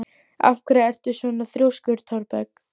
Af hverju ertu svona þrjóskur, Thorberg?